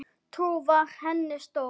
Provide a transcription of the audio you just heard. Trú var henni stoð.